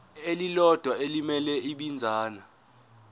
elilodwa elimele ibinzana